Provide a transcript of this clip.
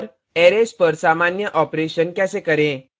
arrays पर सामान्य operations कैसे करें